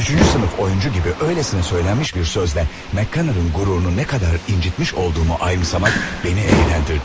Üçüncü sinif oyunçu kimi eləcə deyilmiş bir sözlə Meqkanın qürurunu nə qədər incitdiyimi ayımsamaq məni əyləndirdi.